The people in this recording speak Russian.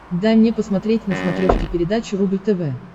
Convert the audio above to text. дай мне посмотреть на смотрешке передачу рубль тв